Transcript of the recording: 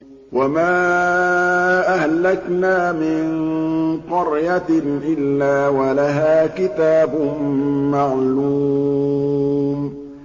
وَمَا أَهْلَكْنَا مِن قَرْيَةٍ إِلَّا وَلَهَا كِتَابٌ مَّعْلُومٌ